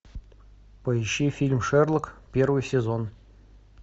поищи фильм шерлок первый сезон